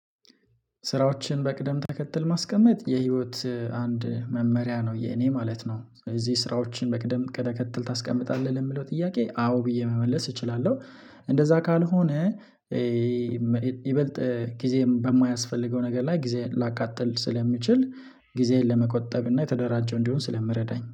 ስራዎችን በቅደም ተከትል ማስቀመጥ የህይወት አንድ መመሪያ ነው የኔ ማለት ነው። እዚህ ስራዎችን በቅደም ቀጥል ታስቀምጣለህ ለምለው ጥያቄ አዎ ብዬ መመለስ እችላለሁ። እንደዛ ካልሆነ ይበልጥ ጊዜን በማያስፈልገው ነገር ላይ ጊዜን ላቃጥል ስለሚችል ጊዜን ለመቆጠብና ተደራጭ እንዲሆን ስለሚረዳኝ